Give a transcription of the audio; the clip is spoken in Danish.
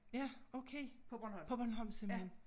Ja okay På Bornholm simpelthen